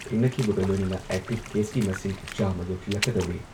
ꯊꯦꯡꯅꯈꯤꯕꯒ ꯂꯣꯏꯅꯅ ꯑꯦꯛꯇꯤꯚ ꯀꯦꯁꯀꯤ ꯃꯁꯤꯡ ꯆꯥꯝꯃ ꯌꯧꯁꯤꯜꯂꯛꯀꯗꯧꯔꯦ꯫